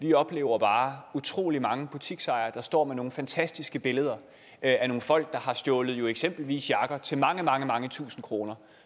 vi oplever bare at utrolig mange butiksejere står med nogle fantastiske billeder af nogle folk der har stjålet eksempelvis jakker til mange mange mange tusinde kroner